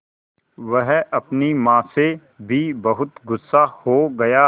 वह अपनी माँ से भी बहुत गु़स्सा हो गया